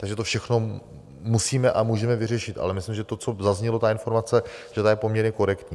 Takže to všechno musíme a můžeme vyřešit, ale myslím, že to, co zaznělo, ta informace, že ta je poměrně korektní.